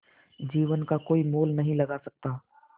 जीवन का कोई मोल नहीं लगा सकता